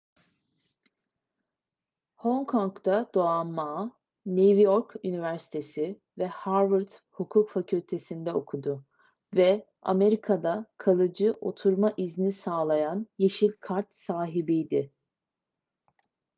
hong kong'da doğan ma new york üniversitesi ve harvard hukuk fakültesi'nde okudu ve amerika'da kalıcı oturma izni sağlayan yeşil kart sahibiydi